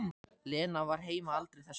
Lena var heima aldrei þessu vant.